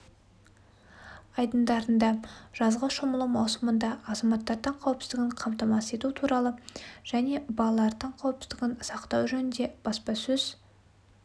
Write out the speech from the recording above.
айдындарында жазғы шомылу маусымында азаматтардың қауіпсіздігін қамтамасыз ету туралы және балалардың қауіпсіздігін сақтау жөнінде баспасөз